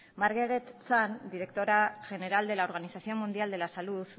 margaret chan directora general de la organización mundial de la salud